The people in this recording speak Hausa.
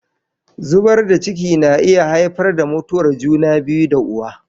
Zubar da ciki na iya haifar da mutuwar juna biyu da uwa.